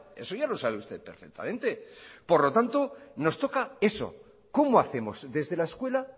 eso ya lo sabe usted perfectamente por lo tanto nos toca eso cómo hacemos desde la escuela